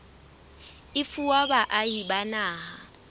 e fuwa baahi ba naha